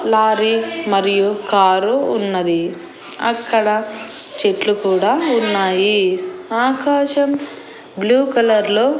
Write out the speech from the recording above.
Lorry మరియు car ఉన్నది అక్కడ చెట్లు కూడా ఉన్నాయి ఆకాశం బ్లూ కలర్ లో .